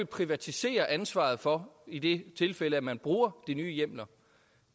privatisere ansvaret for i det tilfælde at man bruger de nye hjemler